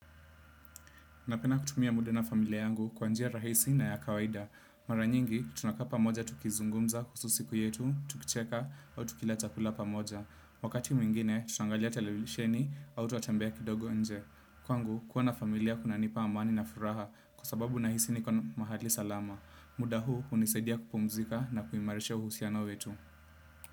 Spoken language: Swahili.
Napenda kutumia muda na familia yangu kwa njia rahisi na ya kawaida. Mara nyingi, tunakaa pamoja tukizungumza kuhusu siku yetu, tukicheka au tukila chakula pamoja. Wakati mwingine, tutaangalia televisheni au twatembea kidogo nje. Kwangu, kuwa na familia kunanipa amani na furaha kwa sababu nahisi niko mahali salama. Muda huu, hunisaidia kupumzika na kuimarisha uhusiano wetu.